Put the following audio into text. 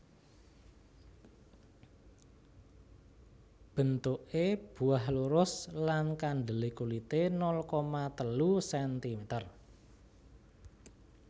Bentuke buah lurus lan kandele kulite nol koma telu sentimeter